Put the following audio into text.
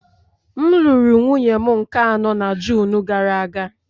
M lụrụ nwunye m nke anọ na June gara aga